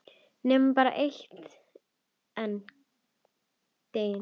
Nema bara einn daginn kemur